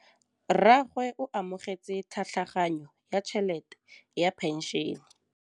Rragwe o amogetse tlhatlhaganyô ya tšhelête ya phenšene.